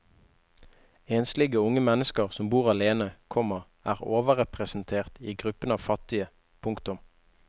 Enslige unge mennesker som bor alene, komma er overrepresentert i gruppen av fattige. punktum